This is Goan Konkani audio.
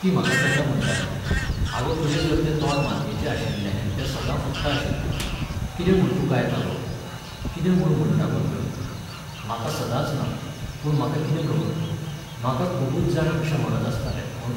ती म्हाका केन्ना म्हणटाली, आगो तुजें जर तें तोंड मातयेचे आशिल्ले तें सदां फुट्टा आशिल्लें, कितें म्हूण तूं गायता गो, कितें म्हूण म्हणटा गो तूं हें, म्हाका सदांच ना, पूण म्हाका कितें खबर, म्हाका खूबच जाण अशें म्हणत आसताले म्हूण